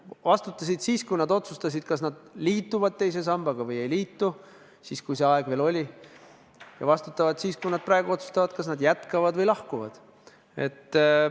Vastutasid siis, kui nad otsustasid, kas nad liituvad teise sambaga või ei liitu – siis, kui see aeg veel oli –, ja vastutavad ka nüüd, kui nad otsustavad, kas nad jätkavad või lahkuvad.